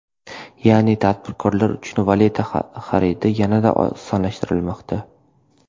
Ya’ni tadbirkorlar uchun valyuta xaridi yanada osonlashishi kutilmoqda.